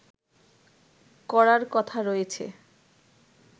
করার কথা রয়েছে